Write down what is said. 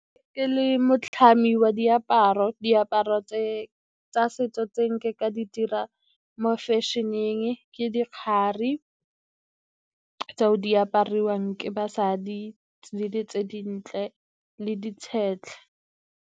Ke le motlhami wa diaparo, diaparo tsa setso tse nke ka di dira mo fashion-eng ke dikgari tseo di apariwang ke basadi le di tse dintle le .